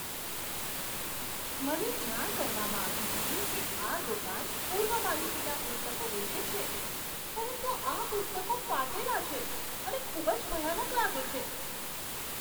મને જાણ કરવામાં આવી હતી કે આ દુકાન પૂર્વ માલિકીનાં પુસ્તકો વેચે છે, પરંતુ આ પુસ્તકો ફાટેલાં છે અને ખૂબ જ ભયાનક લાગે છે.